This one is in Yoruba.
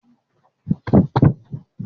Ṣé o máa pààrọ̀ bátìrì ọkọ̀ rẹ lọ́la?